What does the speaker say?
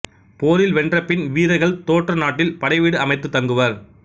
போரில் வென்றபின் வீரர்கள் தோற்ற நாட்டில் படைவீடு அமைத்துத் தங்குவர்